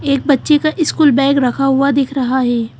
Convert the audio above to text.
एक बच्चे का स्कूल बैग रखा हुआ दिख रहा है।